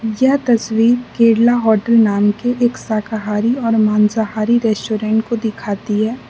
यह तस्वीर केरला होटल नाम के एक शाकाहारी और मांसाहारी रेस्टोरेंट को दिखाती है।